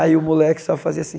Aí o moleque só fazia assim.